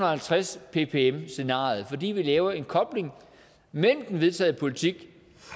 og halvtreds ppm scenariet fordi vi laver en kobling mellem den vedtagne politik